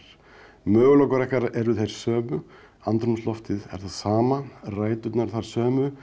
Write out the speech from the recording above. möguleikar okkar eru þeir sömu andrúmsloftið það sama ræturnar þær sömu